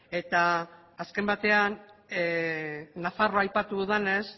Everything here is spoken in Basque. eta azken batean nafarroa aipatu dudanez